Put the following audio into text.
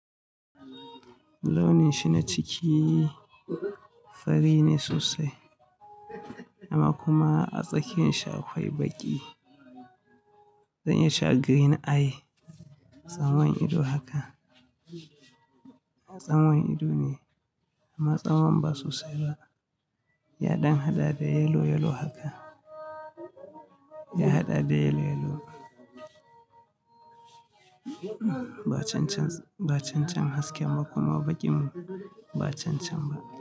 Launin shi na ciki fari ne sosai, amma kuma a tsakiyan shi akwai baƙi. Zan iya cewa green eye. Tsamwan ido haka, tsamwan ido ne amma tsamwan ba sosai ba. Ya ɗan haɗa da yellow, yellow haka. Ya haɗa da yellow, yellow. Ba cancan, ba cancan haske ba kuma baƙin ba cancan ba.